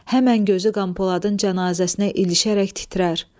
Həmən gözü Qəmpoladın cənazəsinə ilişərək titrər.